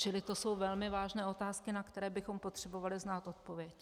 Čili to jsou velmi vážné otázky, na které bychom potřebovali znát odpověď.